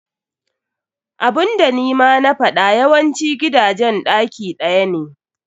Abunda nima na faɗa yawancin gidajen ɗaki ɗaya ne.